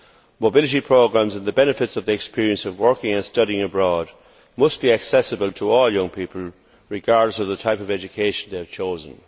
Mobility programmes and the benefits of the experience of working and studying abroad must be accessible to all young people regardless of the type of education they have chosen.